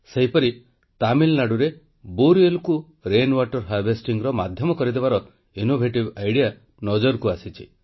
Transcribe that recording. ସେହିପରି ତାମିଲନାଡ଼ୁରେ ନଳକୂପକୁ ବର୍ଷାଜଳ ପରିଚାଳନାର ମାଧ୍ୟମ କରିଦେବାର ଅଭିନବ ଉପାୟ ନଜରକୁ ଆସିଛି